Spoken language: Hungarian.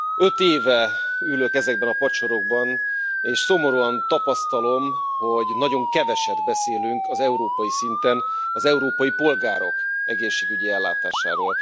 Öt éve ülök ezekben a padsorokban, és szomorúan tapasztalom, hogy nagyon keveset beszélünk európai szinten az európai polgárok egészségügyi ellátásáról.